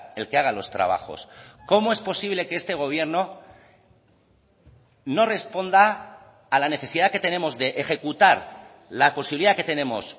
el que haga los trabajos cómo es posible que este gobierno no responda a la necesidad que tenemos de ejecutar la posibilidad que tenemos